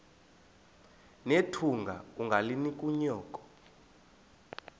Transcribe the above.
nethunga ungalinik unyoko